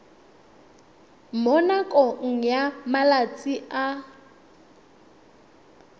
mo nakong ya malatsi a